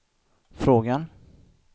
frågan